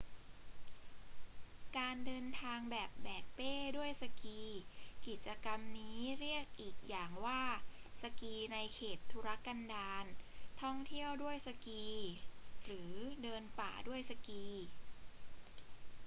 การเดินทางแบบแบกเป้ด้วยสกี กิจกรรมนี้เรียกอีกอย่างว่าสกีในเขตทุรกันดาร ท่องเที่ยวด้วยสกี หรือเดินป่าด้วยสกี